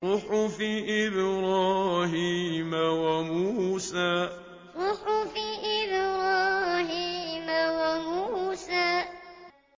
صُحُفِ إِبْرَاهِيمَ وَمُوسَىٰ صُحُفِ إِبْرَاهِيمَ وَمُوسَىٰ